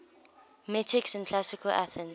metics in classical athens